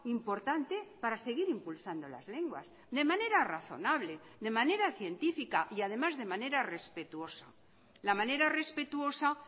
importante para seguir impulsando las lenguas de manera razonable de manera científica y además de manera respetuosa la manera respetuosa